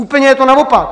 Úplně je to naopak.